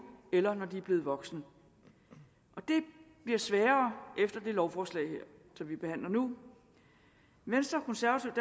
eller når de er blevet voksne det bliver sværere efter det lovforslag her som vi behandler nu venstre konservative